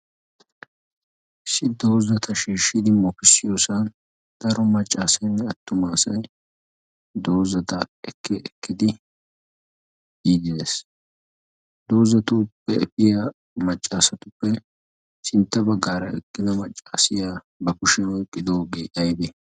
issi doozata shiishshidi masoopiya sikiyoosan daro maccaasenne attu maasac doozata ekke ekkidi yidis doozatu pfiyaa maccaasatuppe sinttaba gaara eqqina maccaasiya ba kushiyaa oyqqidoogee aybe?